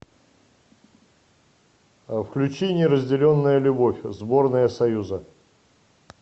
включи неразделенная любовь сборная союза